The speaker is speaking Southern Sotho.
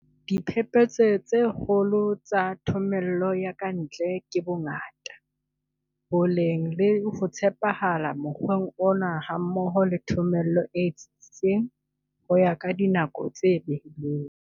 Diphephetso tse kgolo tsa thomello ya ka ntle ke bongata, boleng le ho tshepahala mokgweng ona hammoho le thomello e tsitsitseng ho ya ka dinako tse behilweng.